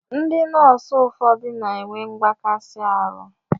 Ndị nọọsụ ụfọdụ na-enwe mgbakasi arụ.